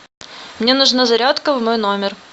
мне нужна зарядка в мой номер